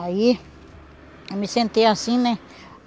Aí, eu me sentei assim, né?